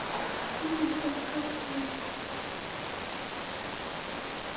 Tíundi kafli